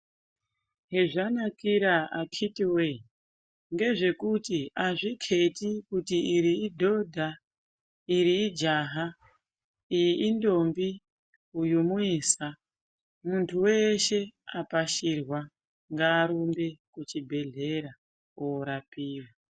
Hezvanakira akhiti wee ngezvekuti azvikheti kuti iri idhodha iri ijaha iyi intombi uyu muisa muntu weshe apashirwa ngarumbe kuchibhedhlera orapiwa.